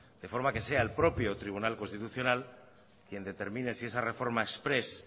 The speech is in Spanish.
de forma que sea el propio tribunal constitucional quien determine si esa reforma exprés